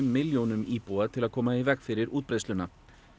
milljónum íbúa til að koma í veg fyrir útbreiðsluna